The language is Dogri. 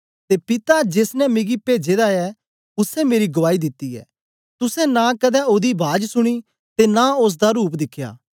ते पिता जेस ने मिकी पेजे दा ऐ उसै मेरी गुआई दिती ऐ तुसें नां कदें ओदी बाज सुनी ते नां ओसदा रूप दिखया